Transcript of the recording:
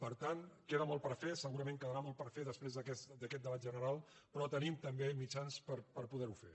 per tant queda molt per fer segurament quedarà molt per fer després d’aquest debat general però tenim tam·bé mitjans per poder·ho fer